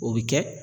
O bɛ kɛ